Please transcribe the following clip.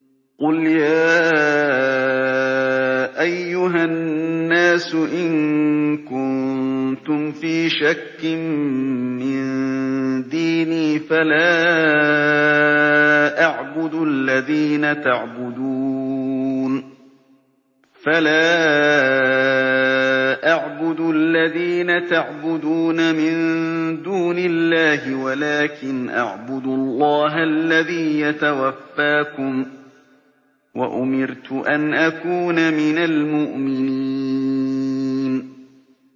قُلْ يَا أَيُّهَا النَّاسُ إِن كُنتُمْ فِي شَكٍّ مِّن دِينِي فَلَا أَعْبُدُ الَّذِينَ تَعْبُدُونَ مِن دُونِ اللَّهِ وَلَٰكِنْ أَعْبُدُ اللَّهَ الَّذِي يَتَوَفَّاكُمْ ۖ وَأُمِرْتُ أَنْ أَكُونَ مِنَ الْمُؤْمِنِينَ